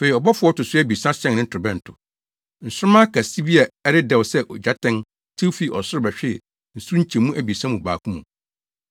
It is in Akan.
Afei ɔbɔfo a ɔto so abiɛsa hyɛn ne torobɛnto. Nsoromma kɛse bi a ɛredɛw sɛ ogyatɛn tew fii ɔsoro bɛhwee nsu nkyɛmu abiɛsa mu baako mu.